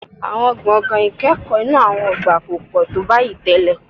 Àwọn gbọ̀ngàn ìkẹ́kọ̀ọ́ inú àwọn ọgbà kò pọ̀ tó báyìí tẹ́lẹ̀